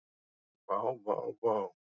Vá vá vá.